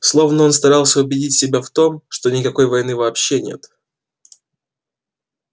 словно он старался убедить себя в том что никакой войны вообще нет